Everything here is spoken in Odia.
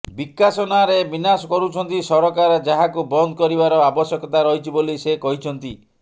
ବିକାଶ ନାଁରେ ବିନାଶ କରୁଛନ୍ତି ସରକାର ଯାହାକୁ ବନ୍ଦ କରିବାର ଆବଶ୍ୟକତା ରହିଛି ବୋଲି ସେ କହିଛନ୍ତି